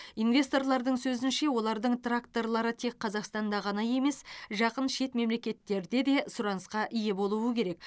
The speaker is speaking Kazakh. инвесторлардың сөзінше олардың тракторлары тек қазақстанда ғана емес жақын шет мемлекеттерде де сұранысқа ие болуы керек